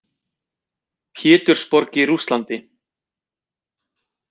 Pétursborg í Rússlandi.